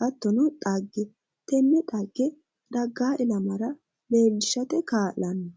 hattono xagge tenne xagge daggaa ilamara leellishate kaa'lanno